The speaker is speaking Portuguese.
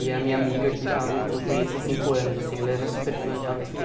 E a minha amiga, que está que eu conheço há cinco anos, assim ela era super fã e tal, não sei o quê.